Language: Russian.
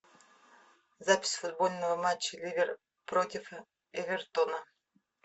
запись футбольного матча ливер против эвертона